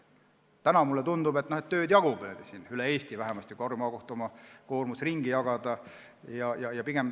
Täna mulle tundub, et tööd jagub üle Eesti, vähemasti kui Harju Maakohtu koormus ümber jagada.